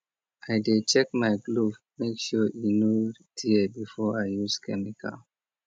i dey check my glove make sure e no tear before i use chemical